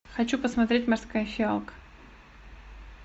хочу посмотреть морская фиалка